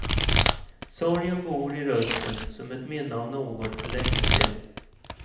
Sorgen bor i rösten som ett minne av något för längesen.